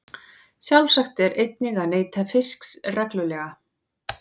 Sjálfsagt er einnig að neyta fisks reglulega.